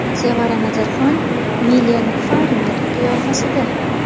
Sevara Nazarxon Milen Farmer qiyofasida.